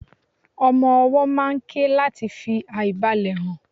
ọmọ ọwó máà ń ké lati fi aìbalẹ̀ hàn